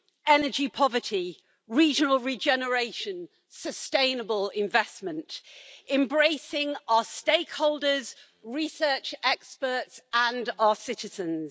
energy poverty, regional regeneration, sustainable investment, embracing our stakeholders, research experts and our citizens.